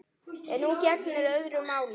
En nú gegnir öðru máli.